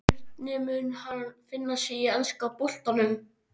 Hvernig mun hann finna sig í enska boltanum?